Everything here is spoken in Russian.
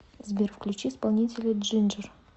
сбер включи исполнителя джинджер